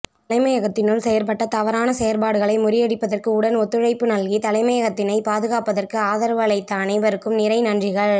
தலைமையகத்தினுள் செயற்பட்ட தவறான செயற்பாடகளை முறியடிப்பதற்கு உடன் ஒத்துழைப்பு நல்கி தலைமையகத்தினைப் பாதுகாப்பதற்கு ஆதரவு அளித்த அனைவருக்கும் நிறை நன்றிகள்